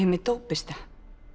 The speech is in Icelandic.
með dópista